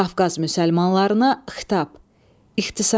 Qafqaz müsəlmanlarına xitab İxtisarən.